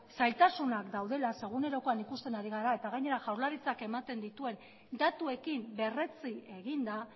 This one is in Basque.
zailtasunak daudela zeren egunerokoan ikusten ari gara eta gainera jaurlaritzak ematen dituen datuekin berretsi egin da